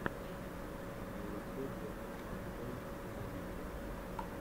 на ютюбе фан тойс медиа